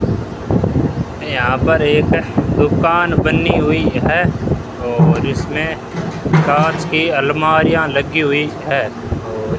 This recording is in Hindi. यहां पर एक दुकान बनी हुई है और इसमें कांच की अलमारियां लगी हुई है और --